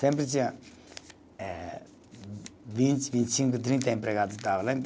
Sempre tinha eh vinte, vinte e cinco, trinta empregados